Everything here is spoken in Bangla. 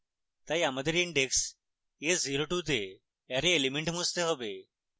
তাই আমাদের index s02 তে অ্যারে element মুছতে have